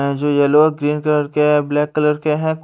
ये जो येलो और ग्रीन कलर के है ब्लैक कलर के है।